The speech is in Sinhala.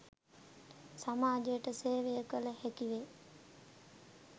සමාජයට සේවය කළ හැකි වේ.